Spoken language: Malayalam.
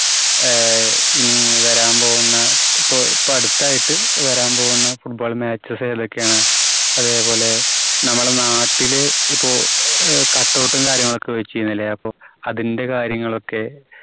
ആഹ് ഇനി വരാൻ പോകുന്ന ഇപ്പോ, ഇപ്പോ അടുത്തായിട്ട് വരാൻ പോകുന്ന football matches ഏതൊക്കെയാണ്? അതേപോലെ നമ്മുടെ നാട്ടില് ഇപ്പോ അഹ് cutout ഉം കാര്യങ്ങളുമൊക്കെ വെച്ചിരുന്നില്ലേ? അപ്പോ അതിന്റെ കാര്യങ്ങളൊക്കെ